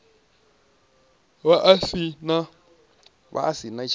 vha a si na hiv